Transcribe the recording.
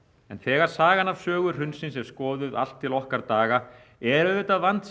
þegar sagan af sögu hrunsins er skoðuð allt til okkar daga er auðvitað vandséð